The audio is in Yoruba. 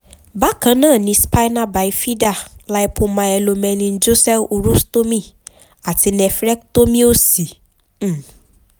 bákan náà ni spina bifida lypomyelomeningocele urostomy àti nephrectomy òsì um